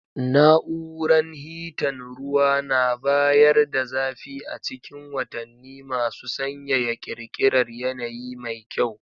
Na'uran hitan ruwa na bayar da zafi a cikin watanni masu sanyaya, ƙirƙirar yanayi mai kyau.